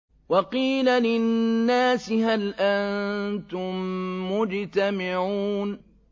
وَقِيلَ لِلنَّاسِ هَلْ أَنتُم مُّجْتَمِعُونَ